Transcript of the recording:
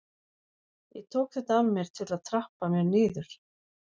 Ég tók þetta að mér til að trappa mér niður.